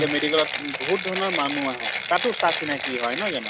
সেই medical ত বহুত ধৰনৰ মানুহ আহে, তাতো চা চিনাকি হয়, নহয় জানো